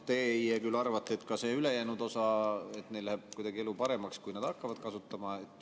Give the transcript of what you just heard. Teie küll arvate, et ka sel ülejäänud osal läheb kuidagi elu paremaks, kui nad hakkavad seda suhtlust kasutama.